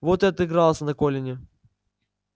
вот и отыгрался на колине